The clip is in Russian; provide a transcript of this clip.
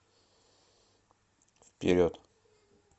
вперед